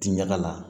Ti ɲaga la